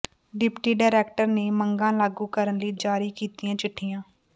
deputy director ਨੇ ਮੰਗਾਂ ਲਾਗੂ ਕਰਨ ਲਈ ਜਾਰੀ ਕੀਤੀਆਂ ਚਿੱਠੀਆਂ